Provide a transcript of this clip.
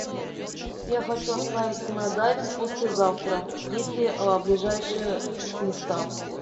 я хочу отправиться на дайвинг послезавтра есть ли ближайшие места